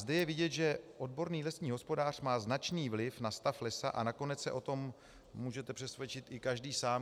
Zde je vidět, že odborný lesní hospodář má značný vliv na stav lesa, a nakonec se o tom můžete přesvědčit i každý sám.